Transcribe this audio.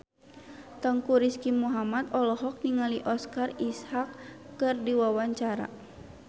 Teuku Rizky Muhammad olohok ningali Oscar Isaac keur diwawancara